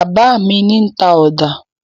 Bàbá mi ní ta ọ̀dà.